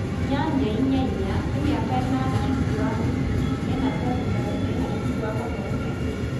8-4-4: nĩ mĩaka ĩnana cukuru wa mũthingi, ĩna cekondarĩ na ĩna cukuru wa mathomo ma igũrũ.